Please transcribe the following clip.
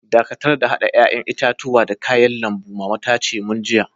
Dakatar da hada yayan itatuwan da kayan lambun, mama ta ce mun jiya.